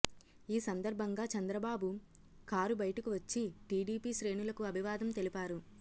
ఈ సందర్భంగా చంద్రబాబు కారు బయటకు వచ్చి టీడీపీ శ్రేణులకు అభివాదం తెలిపారు